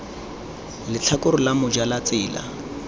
letlhakore la moja la tsela